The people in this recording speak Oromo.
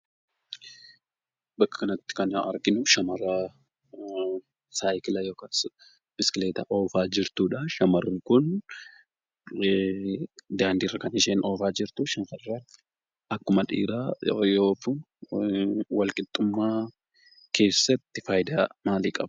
Bakka kanatti kan arginu shamara saayikilaa yookan biskileeta oofaa jirtudha. Shamarreen kun daandiirra kan isheen oofaa jirtu. Akkuma dhiira yeroo ooftu wal-qixxummaa keessatti faayidaa maalii qaba?